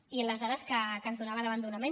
i les dades que ens donava d’abandonament